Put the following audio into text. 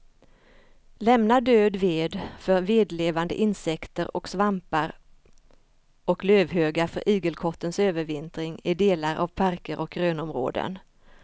Lämna död ved för vedlevande insekter och svampar och lövhögar för igelkottens övervintring i delar av parker och grönområden.